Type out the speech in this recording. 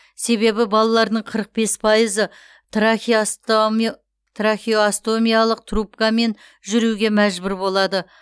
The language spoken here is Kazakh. себебі балалардың қырық бес пайызы трахеостомиялық трубкамен жүруге мәжбүр болады